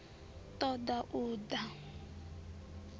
ṱo ḓa u ṱun ḓa